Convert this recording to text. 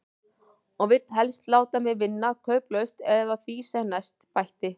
Og vill helst láta mig vinna kauplaust eða því sem næst, bætti